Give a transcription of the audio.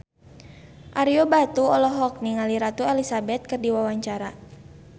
Ario Batu olohok ningali Ratu Elizabeth keur diwawancara